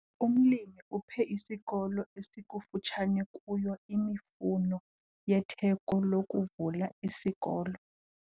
Umlimi uphe isikolo esikufutshane kuyo imifuno yetheko lokuvula isikolo.